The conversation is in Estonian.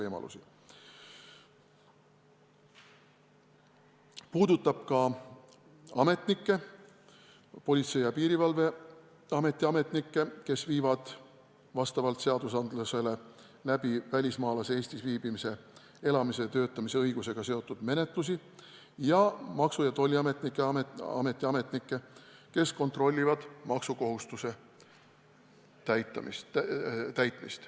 Samuti puudutab see Politsei- ja Piirivalveameti ametnikke, kes viivad vastavalt seadusele läbi välismaalase Eestis viibimise, elamise ja töötamise õigusega seotud menetlusi, ning Maksu- ja Tolliameti ametnikke, kes kontrollivad maksukohustuse täitmist.